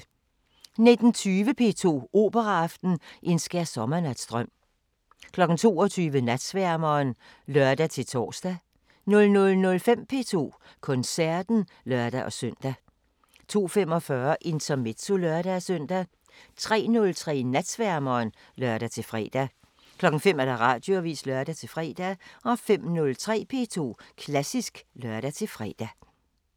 19:20: P2 Operaaften: En skærsommernatsdrøm 22:00: Natsværmeren (lør-tor) 00:05: P2 Koncerten (lør-søn) 02:45: Intermezzo (lør-søn) 03:03: Natsværmeren (lør-fre) 05:00: Radioavisen (lør-fre) 05:03: P2 Klassisk (lør-fre)